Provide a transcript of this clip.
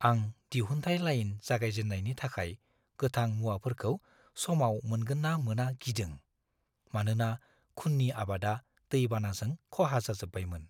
आं दिहुनथाय-लाइन जागायजेन्नायनि थाखाय गोथां-मुवाफोरखौ समाव मोनगोन ना मोना गिदों, मानोना खुननि आबादा दै-बानाजों खहा जाजोबबायमोन।